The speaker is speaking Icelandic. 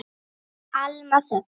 Alma Þöll.